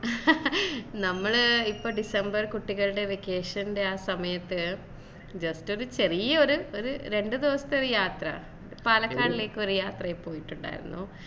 നമ്മൾ ഇപ്പ ഡിസംബറിൽ കുട്ടികളുടെ vacation ൻറെ അഹ് സമയത്തു just ഒരു ചെറിയ ഒര് ഒര് രണ്ടു ദിവസത്തെ ഒരു യാത്ര പാലക്കാടേലേക്കൊരു യാത്ര പോയിട്ടുണ്ടായിരുന്നു